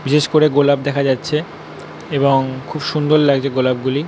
বিশেষ করে গোলাপ দেখা যাচ্ছে খুব সুন্দর লাগছে গোলাপ গুলি ।